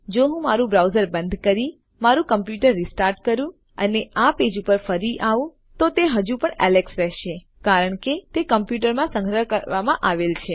જો હું મારું બ્રાઉઝર બંધ કરી મારું કમ્પ્યુટર રીસ્ટાર્ટ કરું અને આ પેજ ઉપર ફરી આવું તો તે હજુ પણ એલેક્સ રહશે કારણ કે તે કમ્પ્યૂટરમાં સંગ્રહ કરવામાં આવેલ છે